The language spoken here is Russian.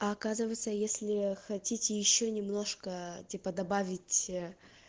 а оказывается если хотите ещё немножко типа добавить